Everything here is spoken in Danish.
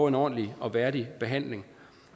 en ordentlig og værdig behandling